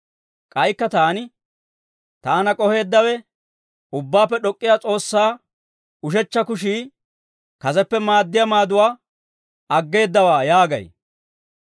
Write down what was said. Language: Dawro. K'aykka taani, «Taana k'oheeddawe, Ubbaappe D'ok'k'iyaa S'oossaa ushechcha kushii, kaseppe maaddiyaa maaduwaa aggeedawaa» yaagay.